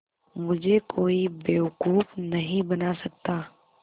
मुझे कोई बेवकूफ़ नहीं बना सकता